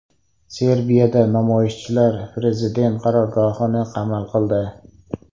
Serbiyada namoyishchilar prezident qarorgohini qamal qildi.